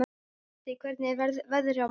Úddi, hvernig er veðrið á morgun?